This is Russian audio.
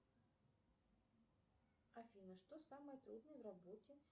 афина что самое трудное в работе